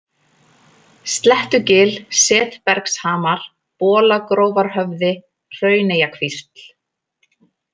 Slettugil, Setbergshamar, Bolagrófarhöfði, Hrauneyjakvísl